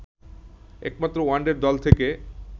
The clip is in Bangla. একমাত্র ওয়ানডের দল থেকে